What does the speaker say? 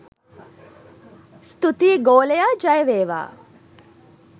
ස්තූතී ගෝලයා ජය වේවා